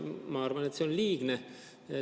Ma arvan, et see on liigne.